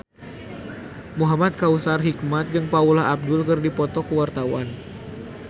Muhamad Kautsar Hikmat jeung Paula Abdul keur dipoto ku wartawan